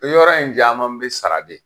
O yɔrɔ in caman bɛ sara de.